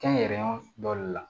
Kɛnyɛrɛyew dɔ de la